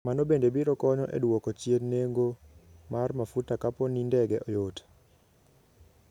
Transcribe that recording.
Mano bende biro konyo e dwoko chien nengo mar mafuta kapo ni ndege yot.